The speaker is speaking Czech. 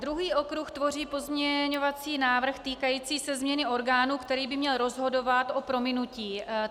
Druhý okruh tvoří pozměňovací návrh týkající se změny orgánu, který by měl rozhodovat o prominutí.